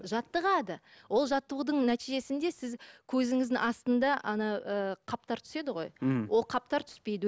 жаттығады ол жаттығудың нәтижесінде сіз көзіңіздің астында ана ы қаптар түседі ғой м ол қаптар түспейді